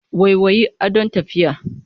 Waiwayi, adon tafiya.